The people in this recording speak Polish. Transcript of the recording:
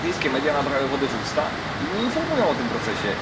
Brytyjskie media nabrały wody w usta i nie informują o tym procesie.